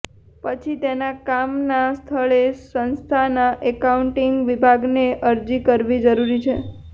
પછી તેના કામના સ્થળે સંસ્થાના એકાઉન્ટિંગ વિભાગને અરજી કરવી જરૂરી છે